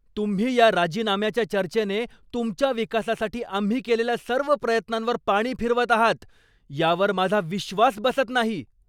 तुम्ही या राजीनाम्याच्या चर्चेने तुमच्या विकासासाठी आम्ही केलेल्या सर्व प्रयत्नांवर पाणी फिरवत आहात, यावर माझा विश्वास बसत नाही.